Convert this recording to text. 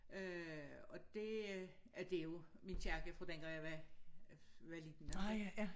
Øh og det øh det jo min kirke fra dengang jeg var var lille altså